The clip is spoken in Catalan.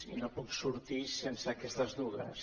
i no puc sortir sense aquestes dues